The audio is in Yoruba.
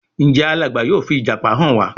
Njé Alàgbà yóò fi ìjàpá hàn wá?